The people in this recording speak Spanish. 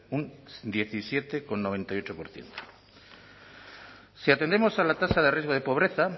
un diecisiete coma noventa y ocho por ciento si atendemos a la tasa de riesgo de pobreza